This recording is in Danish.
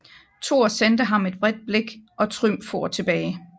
Thor sendte ham et vredt blik og Trym for tilbage